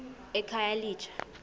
ekhayelitsha